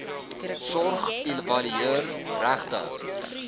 sorg evalueer regtehouers